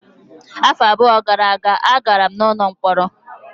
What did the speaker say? Afọ abụọ gara aga, agara m n'ụlọ mkpọrọ.